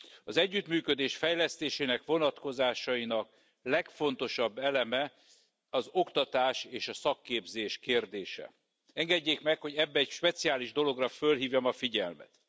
Az együttműködés fejlesztése vonatkozásainak legfontosabb eleme az oktatás és a szakképzés kérdése. Engedjék meg, hogy ebben egy speciális dologra felhívjam a figyelmet.